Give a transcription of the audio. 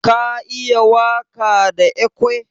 Ka iya waka da ekwe?